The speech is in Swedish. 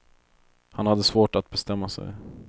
Han hade svårt att bestämma sig.